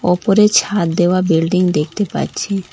ওপরে ছাদ দেওয়া বিল্ডিং দেখতে পাচ্ছি।